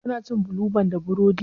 Ka na cin bulu ban da burodi?